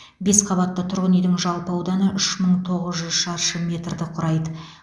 бес қабатты тұрғын үйдің жалпы ауданы үш мың тоғыз жүз шаршы метрді құрайды